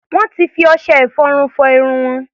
Wọ́n ti fi ọṣẹ-ìfọrun fọ irun wọn.